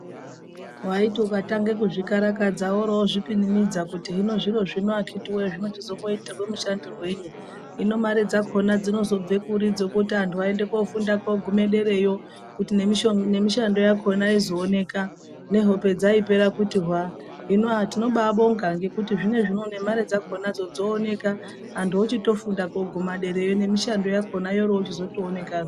Waiti ukatange kuzvikarakadza worozvipinimidza kuti hino zviro zvino akhiti woye zvinochizomboitirwe mushandisirwei hino mare dzakhona dzinozobve kuri dzekuti anhu aende kofunda kugume derayo kuti nemishando yakhona izooneka hope dzaipera kuti hwaa, hino ahh tiinobabonga nekuti mare dzakhona dzooneka, antu ochitofunda koguma derayo nemishando yakhona yoro chizoto onekazve.